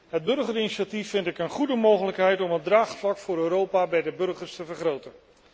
Het burgerinitiatief vind ik een goede mogelijkheid om het draagvlak voor Europa bij de burgers te vergroten.